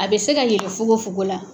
A bɛ se ka yɛlɛ fukonfukon la.